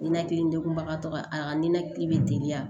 Ninakili degunbaga tɔgɔ ye a ninakili be deli yan